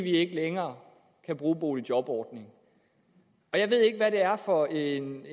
ikke længere kan bruge boligjobordningen jeg ved ikke hvad det er for en